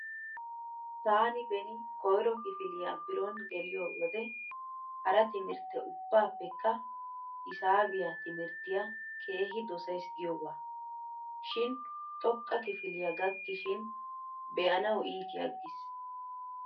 Taani beni koyro kifiliua bironi geliyo wode hara timirttte ubbaappekka hisaabiya timirttiya keehi dosays giyogaa. Shin xoqqa kifilya gakkishin be'anawu iiti aggiis.